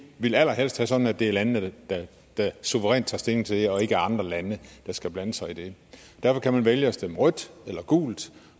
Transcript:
vil allerhelst havde det sådan at det er landene der suverænt tager stilling til det og ikke andre lande der skal blande sig i det derfor kan man vælge at stemme rødt eller gult